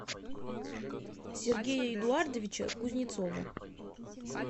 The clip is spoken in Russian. сергея эдуардовича кузнецова